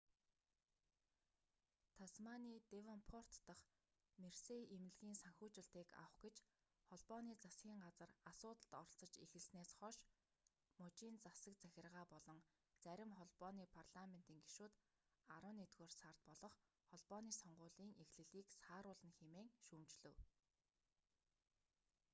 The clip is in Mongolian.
тасманий девонпорт дахь мерсей эмнэлгийн санхүүжилтийг авах гэж холбооны засгийн газар асуудалд оролцож эхэлснээс хойш мужийн засаг захиргаа болон зарим холбооны парламентийн гишүүд арваннэгдүгээр сард болох холбооны сонгуулийн эхлэлийг сааруулна хэмээн шүүмжлэв